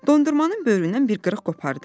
Dondurmanın böyründən bir qırıq qopardı.